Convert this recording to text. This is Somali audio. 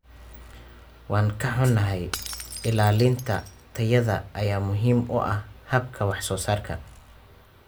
Waan ka xunahay, ilaalinta tayada ayaa muhiim u ah habka wax soo saarka.